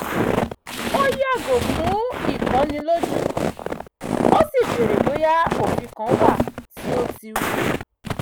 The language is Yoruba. ó yàgò fún ìkonilójú ó sì bèrè bóyá òfin kan wà tí ó ti rú